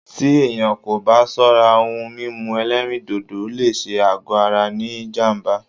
Tí èyàn kò bá ṣọ́rá, òhún mímú ẹ̀lẹ́rìndodò lé ṣé àgọ ara ní jám̀bá.